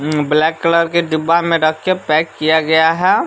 Black colour के डिब्बा में रख के पैक किया गया है।